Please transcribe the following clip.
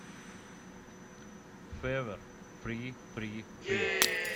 февер фри фри фри